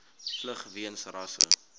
vlug weens rasse